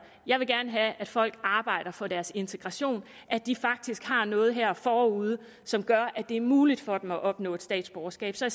jeg vil gerne have at folk arbejder for deres integration at de faktisk har noget her forude som gør at det er muligt for dem at opnå statsborgerskab så